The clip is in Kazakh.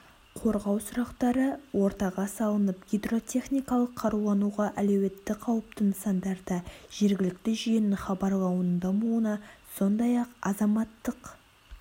қорғау сұрақтары ортаға салынып гидротехникалық қарулануға әлеуеті қаупті нысандарда жергілікті жүйенің хабарлауының дамуына сондай-ақ азаматтық